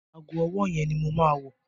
Ago ọwọ́ yẹn ni mo máa wọ̀.